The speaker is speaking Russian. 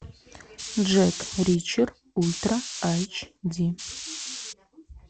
джек ричер ультра айч ди